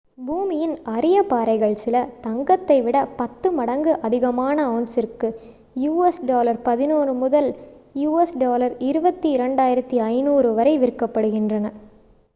பூமியின் அரிய பாறைகள் சில தங்கத்தை விட 10 மடங்கு அதிகமான அவுன்சிற்கு us$11.000 முதல் us$22,500 வரை விற்கப்படுகின்றன